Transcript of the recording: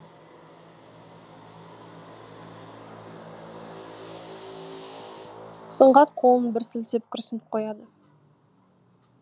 сұңғат қолын бір сілтеп күрсініп қояды